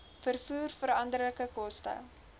vervoer veranderlike koste